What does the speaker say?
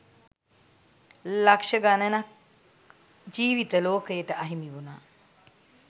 ලක්ෂ ගණනක් ජීවිත ලෝකයට අහිමි වුනා